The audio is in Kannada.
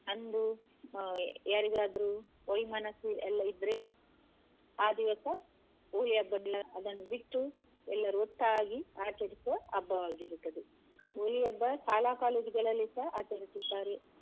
ಅಂದು ಯಾರಿಗದ್ರು ವೈ ಮನಸ್ಸು ಎಲ್ಲ ಇದ್ರೆ ಅ ದಿವಸ Holi ಹಬ್ಬದಂದು ಅದನ್ನು ಬಿಟ್ಟು ಎಲ್ಲರು ಒಟ್ಟಾಗಿ ಆಚರಿಸುವ ಹಬ್ಬವಾಗಿರುತ್ತದೆ Holi ಹಬ್ಬ ಶಾಲಾ college ಗಳಲ್ಲಿಸ ಆಚರಿಸುತ್ತಾರೆ .